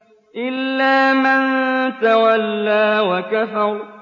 إِلَّا مَن تَوَلَّىٰ وَكَفَرَ